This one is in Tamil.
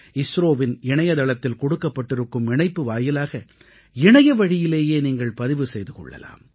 இஸ்ரோவின் இணையதளத்தில் கொடுக்கப்பட்டிருக்கும் இணைப்பு வாயிலாக இணையவழியிலேயே நீங்கள் பதிவு செய்து கொள்ளலாம்